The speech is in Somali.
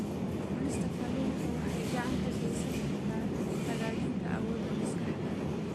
Cunista kalluunka waxay gacan ka geysan kartaa hagaajinta awoodda maskaxda.